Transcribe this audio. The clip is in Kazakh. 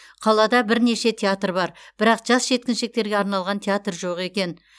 қалада бірнеше театр бар бірақ жас жеткіншектерге арналған театр жоқ екен